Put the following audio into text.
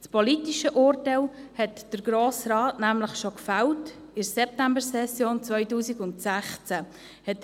Das politische Urteil hat der Grosse Rat nämlich in der Septembersession 2016 bereits gefällt.